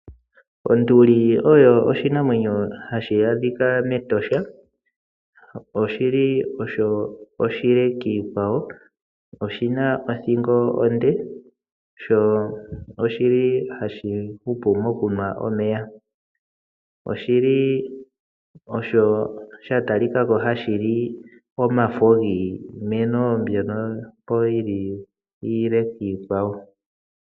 Onduli oyo oshinamwenyo ha shi adhikwa mEtosha, oshili osho oshile kiikwawo, oshina othingo onde, sho ohashi hupu mokunwa omeya. Oshili wo osho sha talika ko hashi li omafo giimeno mbyoka iileleka piikwawo.